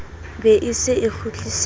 be e se e kgutlisetswa